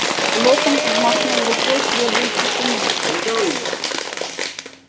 локонс взмахнул рукой требуя тишины